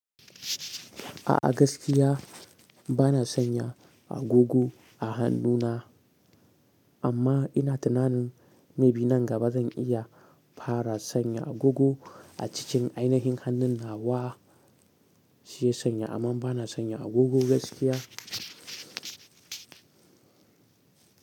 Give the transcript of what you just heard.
A'a gaskiya bana sanya agogo a hannuna, amma ina tunanin may be nan gaba zan iya fara sanya agogo a cikin aina hin hannun nawa, shi sanya, amma bana sanya agogo gaskiya.